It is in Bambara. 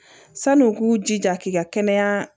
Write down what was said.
San'u k'u jija k'i ka kɛnɛya